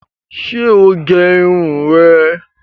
Ṣé o gé irun rẹ̀